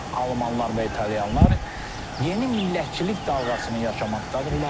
Almanlar və İtalyanlar yeni millətçilik dalğasını yaşamaqdadırlar.